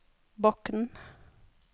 Bokn